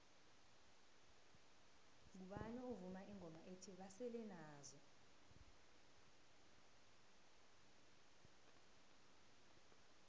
ngubani ovuma ingoma ethi basele nazo